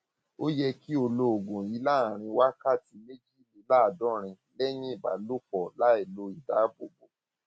ó yẹ kí o lo oògùn yìí láàárín wákàtí méjìléláàádọrin lẹyìn ìbálòpọ láìlo ìdáàbòbò